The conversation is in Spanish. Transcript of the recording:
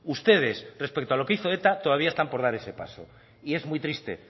ustedes respecto a lo que hizo eta todavía están por dar ese paso y es muy triste